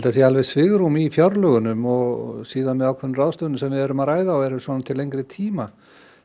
það sé alveg svigrúm í fjárlögunum og svo með ákveðnum ráðstöfunum sem við erum að ræða og eru til lengri tíma